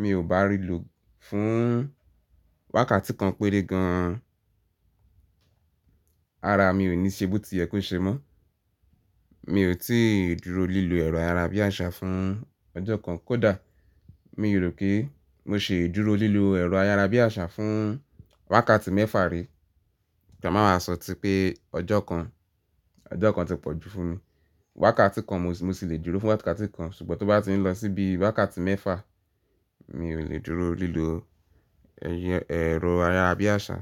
mi ò bá rìlò fún wákàtí kan péré gan an, ara mi ò ní ṣe boti yẹ ko ṣe mọ́. Mi ò tíì dúró lílò ẹ̀rọ ayárabíàṣá fún ọjọ́ kan kó dà. Mi rò pé mo ṣii dúró lílò ẹ̀rọ ayárabíàṣá fún wákàtí mẹ́fà rí. Kàn máa máa sọ tí pé ọjọ́ kan, ọjọ́ kan ti pọ̀jú fún mi. Wákàtí kan mo sì le dúró fún wákàtí kan ṣùgbọ́n tó bá ti ń lọ síbi wákàtí mẹ́fà, mi ò lè dúró lílò ẹ̀rọ ayárabíàṣá.